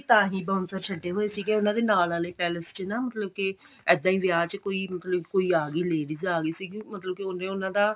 ਤਾਹੀਂ bouncer ਛੱਡੇ ਹੋਏ ਸੀਗੇ ਉਹਨਾ ਦੇ ਨਾਲ ਵਾਲੇ palace ਚ ਨਾ ਮਤਲਬ ਕਿ ਇੱਦਾਂ ਹੀ ਵਿਆਹ ਚ ਕੋਈ ਮਤਲਬ ਕਿ ਕੋਈ ਆਗੀ ladies ਆ ਗਈ ਸੀ ਮਤਲਬ ਕਿ ਉਹਨੇ ਉਹਨਾ ਦਾ